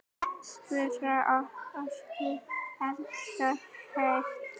Spara orku. elskast hægt!